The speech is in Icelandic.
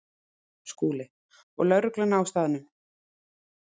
SKÚLI: Og lögregluna á staðnum.